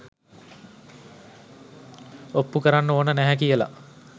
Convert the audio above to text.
ඔප්පු කරන්න ඕන නැහැ කියල.